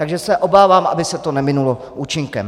Takže se obávám, aby se to neminulo účinkem.